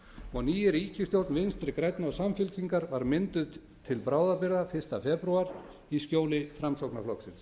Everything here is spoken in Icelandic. og ný ríkisstjórn vinstri grænna og samfylkingar var mynduð til bráðabirgða fyrsta febrúar í skjóli framsóknarflokksins